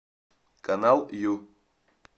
канал ю